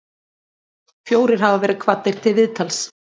Fjórir hafa verið kvaddir til viðtals